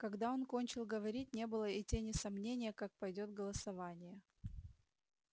когда он кончил говорить не было и тени сомнения как пойдёт голосование